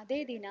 ಅದೇ ದಿನ